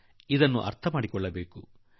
ಆದುದರಿಂದ ನಾವು ಇದನ್ನು ಗ್ರಹಿಸಬೇಕಾಗಿದೆ